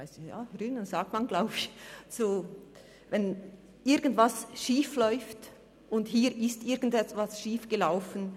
Das sagt man, glaube ich so, wenn irgendetwas schief läuft, und hier ist irgendetwas schief gelaufen.